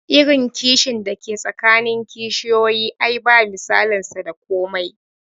Irin kishin da ke tsakanin kishiyoyi ai ba misalin sa da komai